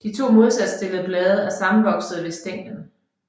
De to modsat stillede blade er sammenvoksede ved stænglen